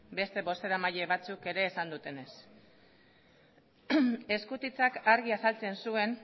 beste bozeramaile batzuk ere esan dutenez eskutitzak argi azaltzen zuen